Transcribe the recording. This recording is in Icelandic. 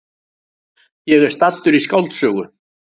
Ég er staddur í skáldsögu!